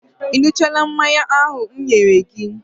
Ị ṅụchaala mmanya ahụ m nyere gị?